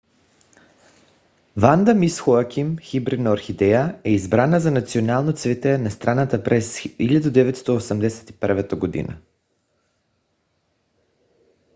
ванда мис хоаким хибридна орхидея е избрана за национално цвете на страната през 1981 г